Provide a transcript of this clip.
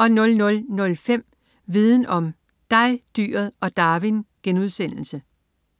00.05 Viden om: Dig, dyret og Darwin*